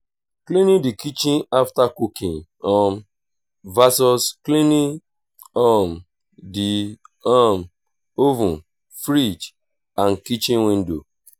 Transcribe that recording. cleaning the kitchen after cooking um vs cleaning um the um oven fridge and kitchen window